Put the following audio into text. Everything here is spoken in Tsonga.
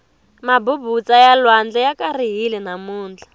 mabubutsa ya lwandle ya karihile namuntlha